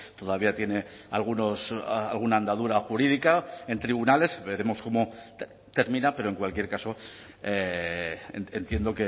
todavía tiene algunos alguna andadura jurídica en tribunales veremos cómo termina pero en cualquier caso entiendo